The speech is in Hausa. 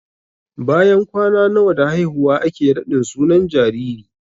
Bayan kwana nawa da haihuwa ake raɗin sunan jariri?